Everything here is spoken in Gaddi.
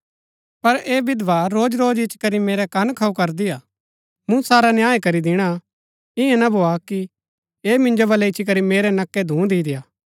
पर ऐह विधवा रोजरोज इच्ची करी मेरै कन खाऊ करदी हा मूँ सारा न्याय करी दिणा ईयां न भोआ कि ऐह मिन्जो वलै इच्ची करी मेरै नक्कै धूँ दि देआ